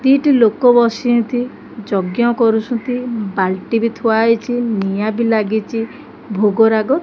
ଦିଟି ଲୋକ ବସିଛନ୍ତି ଯଜ୍ଞ୍ୟ କରୁଛନ୍ତି ବାଲଟି ବି ଥୁଆ ହେଇଛି ନିଆଁ ବି ଲାଗିଚି ଭୋଗରାଗ --